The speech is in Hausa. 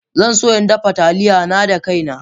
Zan so in dafa Taliya na da kaina